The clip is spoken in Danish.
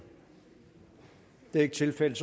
det er ikke tilfældet